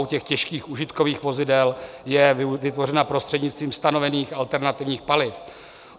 U těžkých užitkových vozidel je vytvořena prostřednictvím stanovených alternativních paliv.